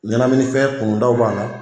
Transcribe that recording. Ɲɛnaminifɛn kunutaw b'a la.